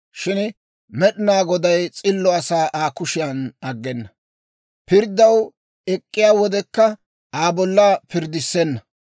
Shin Med'inaa Goday s'illo asaa Aa kushiyan aggena; pirddaw ek'k'iyaa wodekka Aa bolla pirddissenna.